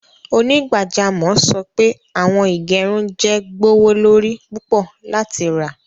Onígbàjàmọ̀ sọ pé awọn ìgẹ̀rùn jẹ́ gbọwọlorí púpọ̀ láti rá.